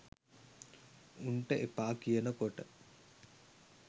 උන්ට එපා කියන කොට